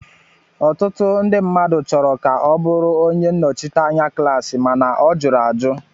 Ọtụtụ ndị mmadụ chọrọ ka ọ bụrụ onye nnọchiteanya klaasi mana ọ jụrụ ajụ